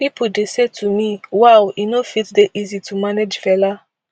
pipo dey say to me wow e no fit dey easy to manage fela